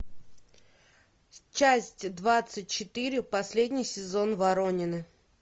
часть двадцать четыре последний сезон воронины